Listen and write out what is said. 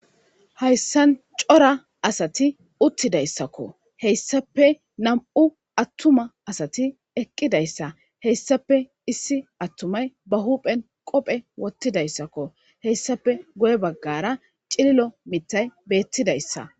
hayssan cora asati uttidayssakko heyssape nam'u attuma asati eqqidayssa heyssape issi attumay ba huphen qophe wottidayssakko heyssape guye baggara cililo mitay beettidayssa